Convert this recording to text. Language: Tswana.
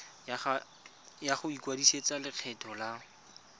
ya go ikwadisetsa lekgetho la